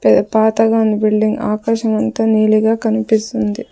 Pay పాతగా ఉంది building ఆకాశమంత నీలిగా కనిపిస్తుంది.